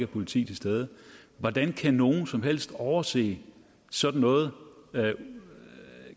politi til stede hvordan kan nogen som helst overse sådan noget kan